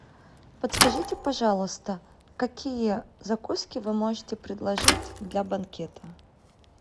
подскажите пожалуйста какие закуски вы можете предложить для банкета